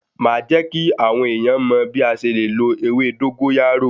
Màá jẹ́ kí àwọn èèyàn mọ̀ bí a ṣe le lo ewé dógóyárò.